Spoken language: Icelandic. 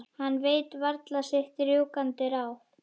Hann veit varla sitt rjúkandi ráð.